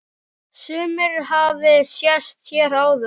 Sumir hafi sest hér að.